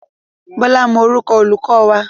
Bọ́lá mọ orúkọ olùkọ́ wa.